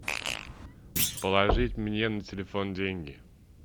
положить мне на телефон деньги